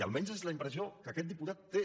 almenys és la impressió que aquest diputat té